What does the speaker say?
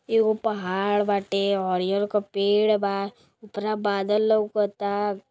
एगो पहाड़ बाटे अरियल का पेड़ बा उपरा बादल लउकता।